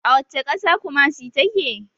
A wacce ƙasa kumasi ta ke?